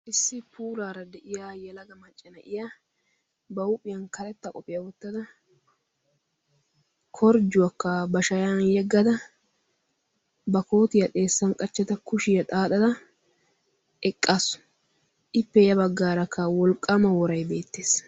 issi puulaara de'iya yelaga maccanaiya ba huuphiyan kaletta qophiyaa wottada korjjuwaakka ba shayan yeggada ba kootiyaa xeessan qachchada kushiyaa xaaxada eqqasu ippe ya baggaarakka wolqqaama woray beettees